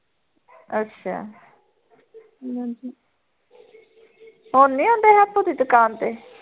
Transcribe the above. ਅੱਛਾ ਹਮ ਹੁਣ ਨੀ ਆਉਂਦੇ ਹੈਪੂ ਦੀ ਦੁਕਾਨ ਤੇ